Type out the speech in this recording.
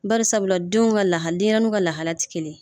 Bari sabula denw ka lahali , denɲɛrɛnuw ka lahaliya ti kelen ye.